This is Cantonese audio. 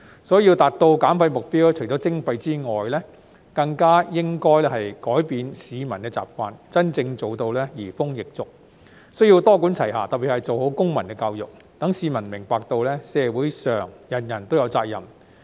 所以，要達到減廢目標，除了徵費外，更加應改變市民的習慣，真正做到移風易俗，需要多管齊下，特別是做好公民教育，使市民明白到社會上人人都有責任。